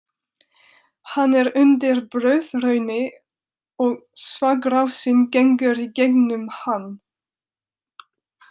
Hann er undir blöðrunni og þvagrásin gengur í gegnum hann.